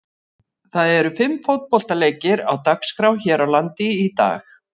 Það eru fimm fótboltaleikir á dagskrá hér landi í dag.